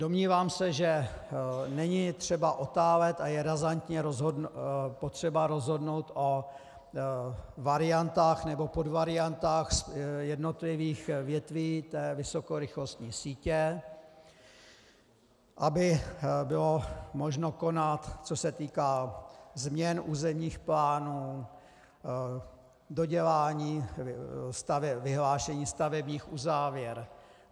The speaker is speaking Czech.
Domnívám se, že není třeba otálet a je razantně potřeba rozhodnout o variantách nebo podvariantách jednotlivých větví té vysokorychlostní sítě, aby bylo možno konat, co se týká změn územních plánů, dodělání, vyhlášení stavebních uzávěr.